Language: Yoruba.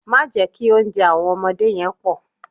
Má jẹ́ kí oúnjẹ àwọn ọmọdé yẹn pọ̀.